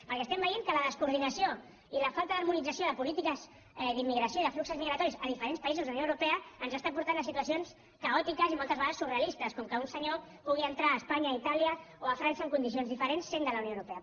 perquè veiem que la descoordinació i la falta d’harmonització de polítiques d’immigració i de fluxos migratoris a diferents països de la unió europea ens porta a situacions caòtiques i moltes vegades surrealistes com ara que un senyor pugui entrar a espanya a itàlia o a frança en condicions diferents sent de la unió europea